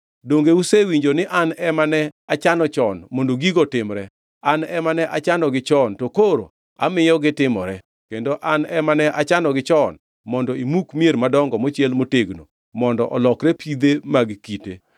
“ ‘Donge usewinjo ni an ema ne achano chon mondo gigo otimre? An ema ne achanogi chon, to koro amiyo gitimore; kendo an ema ne achanogi chon mondo imuk mier madongo mochiel motegno mondo olokre pidhe mag kite.